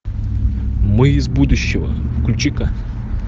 мы из будущего включи ка